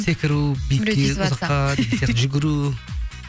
секіру биікке ұзаққа деген сияқты жүгіру